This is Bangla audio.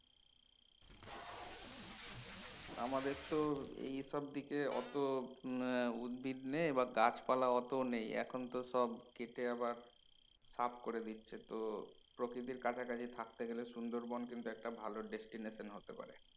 আমাদের তো এইসব দিকে অতো হম উদ্ভিদ নেই বা গাছপালাও অতো নেই এখন তো সব কেটে আবার সাফ করে দিচ্ছে তো প্রকৃতির কাছাকাছি থাকতে গেলে সুন্দরবন কিন্তু একটা ভালো destination হতে পারে